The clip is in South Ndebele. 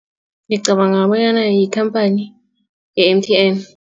Ngicabanga bonyana yikhamphani ye-M_T_N.